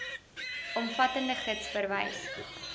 omvattende gids verwys